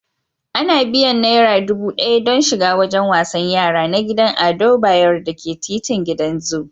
Ana biyan naira dubu ɗaya don shiga wajen wasan yara na gidan Ado Bayero da ke titin gidan zu.